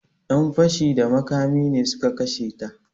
Yan fashi da makami ne su ka kashe ta.